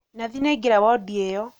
Nathi nĩaingĩra wondi ĩyo